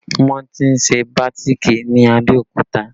Wọn ti ń ṣe bàátìkì ní Abẹ́òkúta